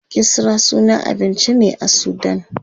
Kisra sunan abinci ne a sudan.